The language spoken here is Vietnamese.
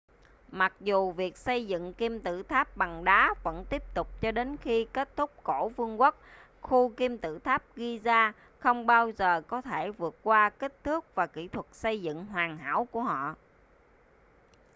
mặc dù việc xây dựng kim tự tháp bằng đá vẫn tiếp tục cho đến khi kết thúc cổ vương quốc khu kim tự tháp giza không bao giờ có thể vượt qua kích thước và kỹ thuật xây dựng hoàn hảo của họ